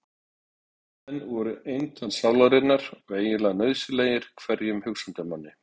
Timburmenn voru eintal sálarinnar og eiginlega nauðsynlegir hverjum hugsandi manni.